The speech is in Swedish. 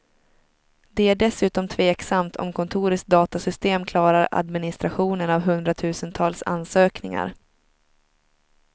Det är dessutom tveksamt om kontorets datasystem klarar administrationen av hundratusentals ansökningar.